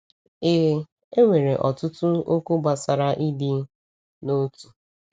Ee, e nwere ọtụtụ okwu gbasara ịdị n’otu.